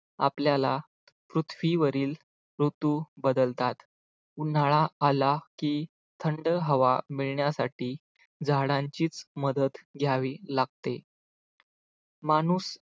आपल्याला पृथ्वीवरील ऋतू बदलतात उन्हाळा आला की थंड हवा मिळण्यासाठी झाडांची मदत घ्यावी लागते माणूस